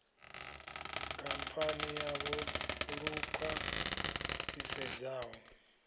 khamphani yavho lu khwa ṱhisedzaho